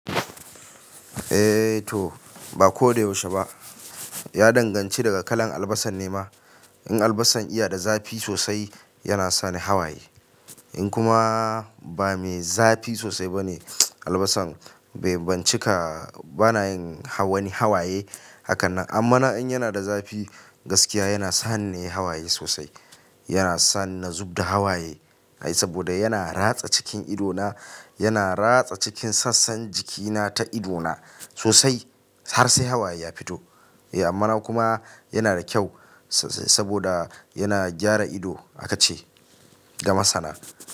Eh to ba ko da yaushe ba, ya danganci daga kalan albasan ne ma. In albasan iya da zafi sosai yana sani hawaye in kuma ba me zafi sosai bane albasan bai bincika bana yin wani hawaye hakanan. Amma na in yana da zafi gaskiya yana saninne hawaye sosai. Yana sani na zub da hawaye ai saboda yana ratsa cikin ido na yana ratsa cikin sassan jikina ta ido na sosai har sai hawaye ya fito. Eh amma na kuma yana da kyau saboda yana gyara ido haka ce ga masana.